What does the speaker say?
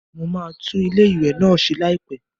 Mo máa tún ilé ìwẹ̀ náà ṣe láìpẹ́.